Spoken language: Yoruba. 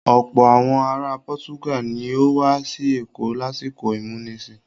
Ọ̀pọ̀ àwọn ara Pọ́túgàl ní ó wá sí Èkó lásìkò ìmúnisìn